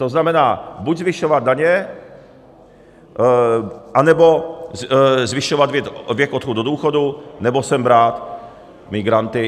To znamená, buď zvyšovat daně, anebo zvyšovat věk odchodu do důchodu, nebo sem brát migranty.